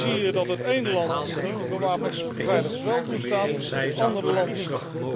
Nu zie je dat het ene land die bewapende beveiligers wel toestaat, en het andere land niet.